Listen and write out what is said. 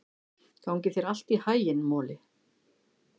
Gangi þér allt í haginn, Moli.